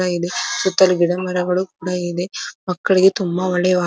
ಕೂಡ ಇದೆ ಸುತ್ತಲು ಗಿಡಮರಗಳು ಕೂಡ ಇದೆ ಮಕ್ಕಳಿಗೆ ತುಂಬಾ ಒಳ್ಳೆಯ --